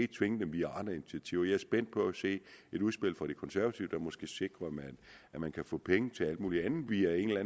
tvinge dem via andre initiativer jeg er spændt på at se et udspil fra de konservative der måske sikrer at man kan få penge til alt muligt andet via en eller